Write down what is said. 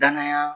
Danaya